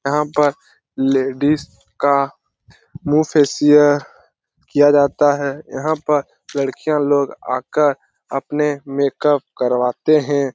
यहाँ पर लेडीज का मुहँ फेसिअल किया जाता है | यहाँ पर लडकियाँ लोग आकर अपने मेकअप करवाते हैं ।